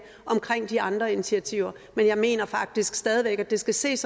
om de andre initiativer men jeg mener faktisk stadig væk at det skal ses